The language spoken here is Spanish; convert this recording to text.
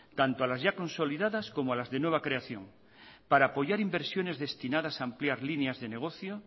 tanto a las ya consolidadas como a las de nueva creación para apoyar inversiones destinadas a ampliar líneas de negocio